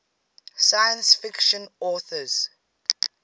science fiction authors